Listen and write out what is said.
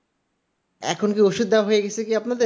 এখন কি ঔষধ দেয়া হয়ে গেছে কি আপনাদের